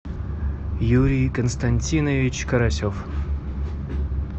юрий константинович карасев